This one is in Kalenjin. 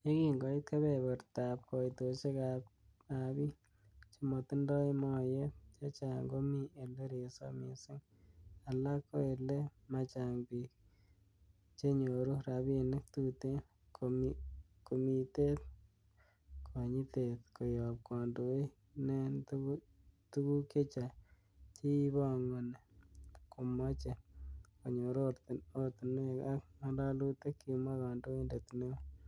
yekin koit kebebertab koitosiek abik chemotindoi noyet, chechang komi ele resop missing alak ko ele machang bik, bik chenyoru rabinik tuten, komitet konyitet koyob kondoik neen tuguk chechang chekibongoni komoche konyor oratinwek ak ngalalutik,''kimwa kandoindet neo.